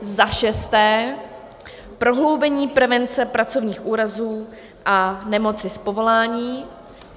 Za šesté, prohloubení prevence pracovních úrazů a nemocí z povolání.